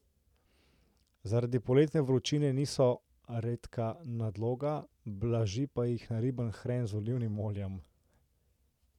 Zaradi poletne vročine niso redka nadloga, blaži pa jih nariban hren z olivnim oljem.